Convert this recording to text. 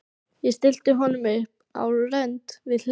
Ég stilli honum upp á rönd við hlið